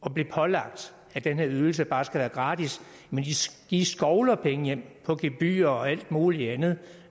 at blive pålagt at den her ydelse bare skal være gratis men de skovler penge hjem på gebyrer og alt mulig andet